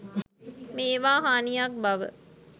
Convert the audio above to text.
මේවා හානියක් බව